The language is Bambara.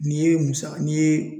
N'i ye musaka n'i ye